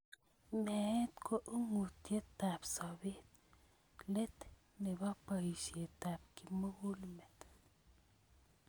Meet ko ung'otyotab sobeet, let nebo boisyetab kimugul met.